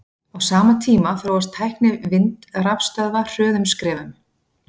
á sama tíma þróast tækni vindrafstöðva hröðum skrefum